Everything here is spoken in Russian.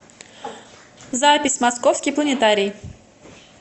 запись московский планетарий